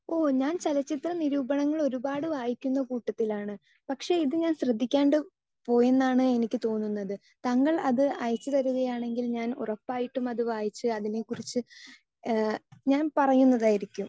Speaker 2 ഓ, ചലച്ചിത്ര നിരൂപണങ്ങൾ ഒരുപാട് വായിക്കുന്ന കൂട്ടത്തിലാണ്. പക്ഷേ ഇത് ഞാൻ ശ്രദ്ധിക്കാണ്ട് പോയി എന്നാണ് എനിക്ക് തോന്നുന്നത്. താങ്കൾ അത് അയച്ചു തരികയാണെങ്കിൽ ഞാൻ ഉറപ്പായിട്ടും അതു വായിച്ച് അതിനെക്കുറിച്ച് ഞാൻ പറയുന്നതായിരിക്കും.